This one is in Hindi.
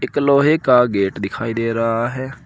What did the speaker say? एक लोहे का गेट दिखाई दे रहा है।